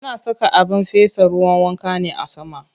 Ana saka abin fesa ruwan wanka ne a sama.